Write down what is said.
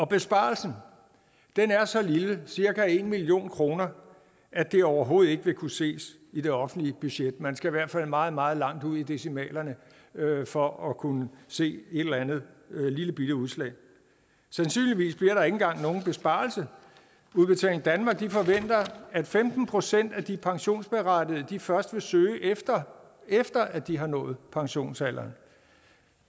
besparelsen er så lille cirka en million kroner at det overhovedet ikke vil kunne ses i det offentlige budget man skal i hvert fald meget meget langt ud i decimalerne for at kunne se et eller andet lillebitte udslag sandsynligvis bliver der ikke engang nogen besparelse udbetaling danmark forventer at femten procent af de pensionsberettigede først vil søge efter at de har nået pensionsalderen